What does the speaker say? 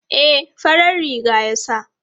E, farar riga ya sa.